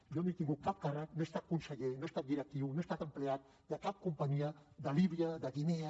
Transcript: jo no he tingut cap càrrec no he estat conseller no he estat directiu no he estat empleat de cap companyia de líbia de guinea